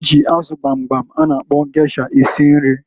Ha ji azụ gbamgbam a na akpọ gesha esi nri.